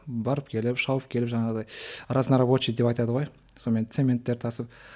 барып келіп шауып келіп жаңағыдай разнорабочий деп айтады ғой сонымен цементтер тасып